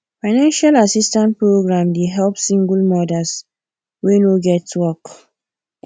financial assistance program dey help single mothers whey no get work